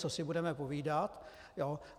Co si budeme povídat.